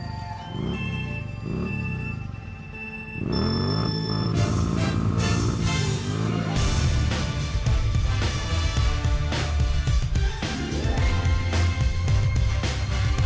við